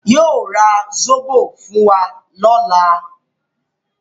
Yóò ra Zóbò fún wa lọ́la.